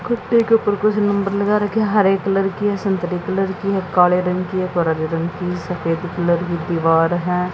कुत्ते के उपर कुछ नंबर लगा रखे है। हरे कलर की है संतरे कलर की है काले रंग की है गुलाबी रंग की सफ़ेद कलर की दीवार है।